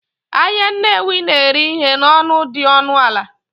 Ahịa Nnewi na-ere ihe n'ọnụ dị ọnụ ala